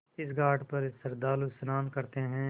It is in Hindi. इस घाट पर श्रद्धालु स्नान करते हैं